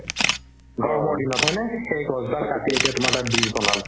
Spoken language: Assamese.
গৰমৰ দিনত হয়নে সেই গছডাল কাটি এতিয়া তোমাৰ তাত bridge বনালে